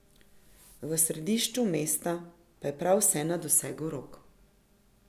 V središču mesta je prav vse na dosegu rok.